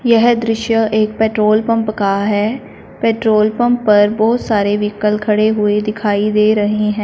यह दृश्य एक पेट्रोल पंप का है पेट्रोल पंप पर बहुत सारे व्हीकल खड़े हुए दिखाई दे रहे हैं।